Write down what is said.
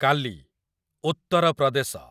କାଲି , ଉତ୍ତର ପ୍ରଦେଶ